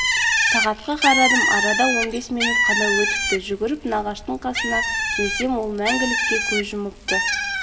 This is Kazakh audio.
сағатқа карадым арада он бес минут қана өтіпті жүгіріп нағаштың қасына келсем ол мәңгілікке көз жұмыпты